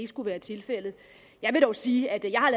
skulle være tilfældet jeg vil dog sige at jeg har